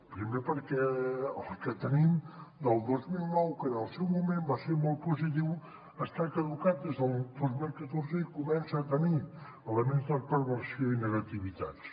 primer perquè el que tenim del dos mil nou que en el seu moment va ser molt positiu està caducat des del dos mil catorze i comença a tenir elements de perversió i negativitats